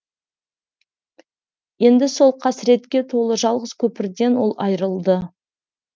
енді сол қасіретке толы жалғыз көпірден ол айырылды